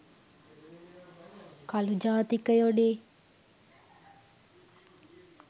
කළු ජාතිකයොනේ.